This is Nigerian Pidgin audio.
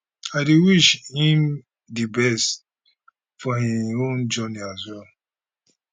i dey wish him di best for im own journey as well